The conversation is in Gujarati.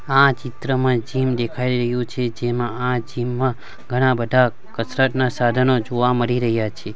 આ ચિત્રમાં જીમ દેખાય રહ્યું છે જેમાં આ જીમ માં ઘણા બઢા કસરતના સાઢનો જોવા મળી રહ્યા છે.